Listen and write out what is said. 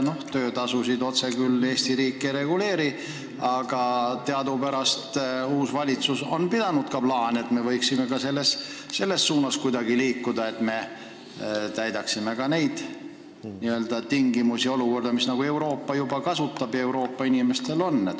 Töötasusid otse küll Eesti riik ei reguleeri, aga teadupärast on uus valitsus pidanud plaani ka selles suunas kuidagi edasi liikuda, et me täidaksime ka neid harta punkte ning jõuaksime olukorda, mis mujal Euroopas juba on?